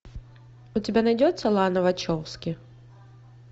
у тебя найдется лана вачовски